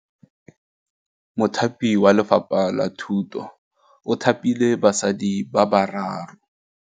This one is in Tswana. Mothapi wa Lefapha la Thutô o thapile basadi ba ba raro.